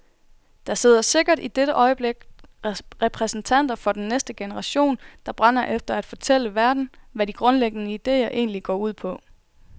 Der sidder sikkert i dette øjeblik repræsentanter for den næste generation der brænder efter at fortælle verden hvad de grundlæggende idéer egentlig går ud på.